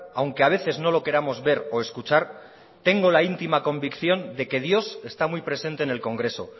aunque a veces no lo queramos ver o escuchar tengo la íntima convicción de que dios está muy presente en el congreso